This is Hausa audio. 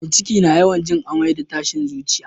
Mai ciki na yawan jin amai da tashin zuciya